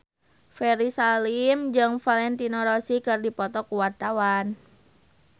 Ferry Salim jeung Valentino Rossi keur dipoto ku wartawan